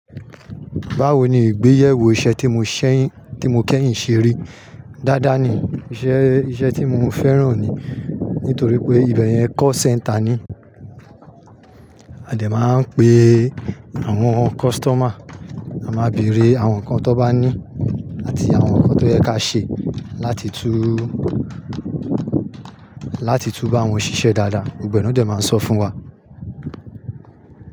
Báwo ni ìgbéyewó iṣẹ́ tí mo ṣẹ́yìn, tí mo kẹ́yìn ṣeri. Dádá ni iṣẹ́, iṣẹ́ tí mo fẹ́ràn ni nítorí pé ibẹ̀ yẹn call center ni. A dẹ̀ máa ń pe àwọn customer, a máa bèrè àwọn nǹkan tó bá ní àti àwọn nǹkan tó yẹ ká ṣe láti tún, láti tún bá wọn ṣiṣẹ́ dáadáa. Gbogbo e na dẹ̀ máa sọ fún wa.